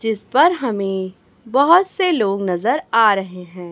जिस पर हमें बहोत से लोग नजर आ रहे हैं।